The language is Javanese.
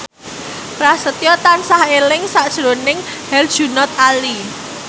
Prasetyo tansah eling sakjroning Herjunot Ali